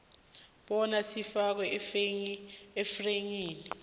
bona sifakwe efayilini